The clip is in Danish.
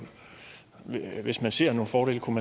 det hvis man ser nogle fordele